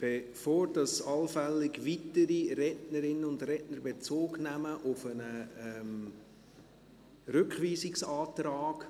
Bevor allenfalls weitere Rednerinnen und Redner Bezug nehmen auf einen Rückweisungsantrag: